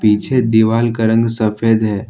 पीछे दीवाल का रंग सफेद है।